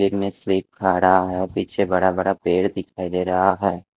और पीछे बड़ा बड़ा पेड़ दिखाई दे रहा है।